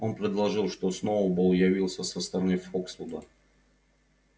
он предложил что сноуболл явился со стороны фоксвуда